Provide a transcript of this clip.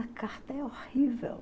A carta é horrível.